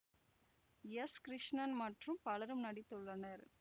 S Krishnan மற்றும் பலரும் நடித்துள்ளனர்